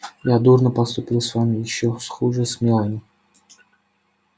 я дурно поступил с вами и ещё хуже с мелани